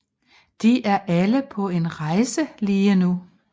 De er alle på en rejse lige nu